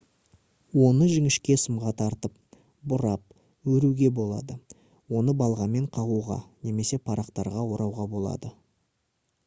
оны жіңішке сымға тартып бұрап өруге болады оны балғамен қағуға немесе парақтарға орауға болады